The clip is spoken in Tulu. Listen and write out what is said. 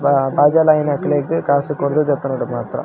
ವಾ ಬಾಜೊಲ್ ಆಯಿನಕ್ಲೆಗ್ ಕಾಸ್ ಕೊರ್ದು ದೆತೊನೊಡು ಮಾತ್ರ.